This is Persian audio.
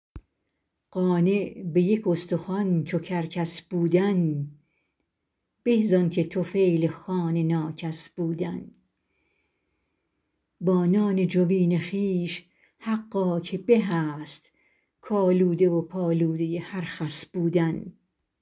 قانع به یک استخوان چو کرکس بودن به زآنکه طفیل خوان ناکس بودن با نان جوین خویش حقا که به است کآلوده و پالوده هر خس بودن